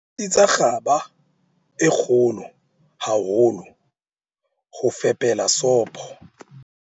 Sebedisa kgaba e kgolo haholo ho fepela sopo.